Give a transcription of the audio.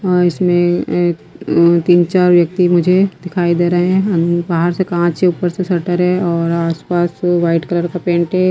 अ इसमें तीन-चार व्यक्ति मुझे दिखाई दे रहे हैं बाहर से कॉंच है ऊपर से शटर है और आसपास वाइट कलर का पेंट है।